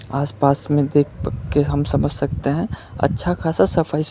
आस पास में देख के हम समझ सकते हैं अच्छा खासा सफाई--